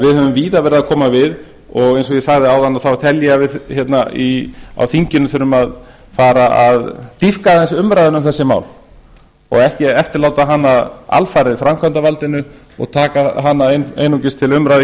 við höfum því víða verið að koma við og eins og ég sagði áðan tel ég að við á þinginu þurfum að fara að dýpka aðeins umræðuna um þessi mál og ekki eftirláta hana alfarið framkvæmdarvaldinu og taka hana einungis til umræðu